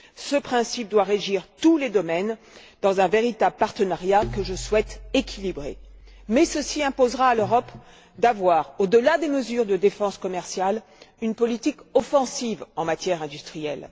Ce principe doit régir tous les domaines, dans le cadre d'un véritable partenariat que je souhaite équilibré, mais ceci imposera à l'Europe d'adopter, au delà des mesures de défense commerciale, une politique offensive en matière industrielle.